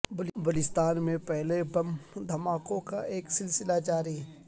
بلوچستان میں پہلے بم دھماکوں کا ایک سلسلہ جاری ہے